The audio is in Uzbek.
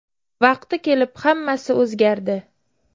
Vaqti kelib hammasi o‘zgardi.